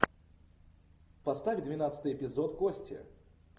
поставь двенадцатый эпизод кости